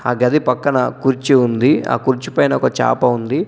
ఆ గది పక్కన కుర్చీ ఉంది. ఆ కుర్చీపైన ఒక చాప ఉంది.